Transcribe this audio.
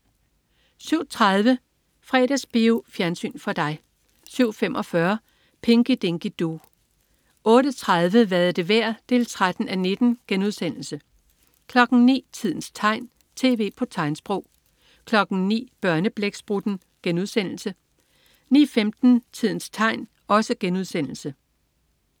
07.30 Fredagsbio. Fjernsyn for dig 07.45 Pinky Dinky Doo 08.30 Hvad er det værd? 13:19* 09.00 Tidens tegn, tv på tegnsprog* 09.00 Børneblæksprutten* 09.15 Tidens tegn*